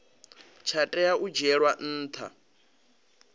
tsha tea u dzhielwa nha